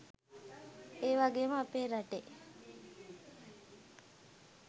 ඒවගේම අපේ රටේ